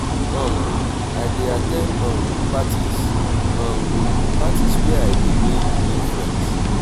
um i dey at ten d um parties um parties where i dey make new friends.